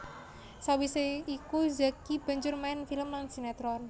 Sawisé iku Zacky banjur main film lan sinetron